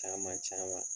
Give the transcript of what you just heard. Caman caman